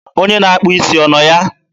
Onye na-akpụ isi ọ nọ ya?